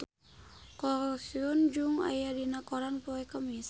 Ko Hyun Jung aya dina koran poe Kemis